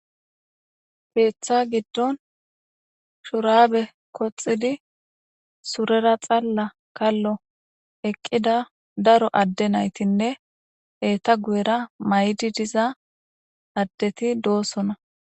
Keeththa giddon shuraabe koxidi surera xalla kallo eqqida daro adde naytinne eeta guyera maydi diza addeti doossona